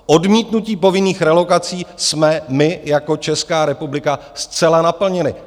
Odmítnutí povinných relokací jsme my jako Česká republika zcela naplnili.